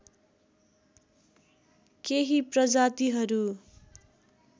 केही प्रजातिहरू